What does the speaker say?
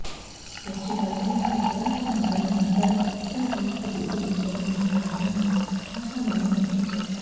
beach ఫెస్టివల్తో అతిపురాతన నగరం బందర్ కొత్త రూపు దిద్దుకుంటుందని ఆయన ఆశాభావం వ్యక్తం చేశారు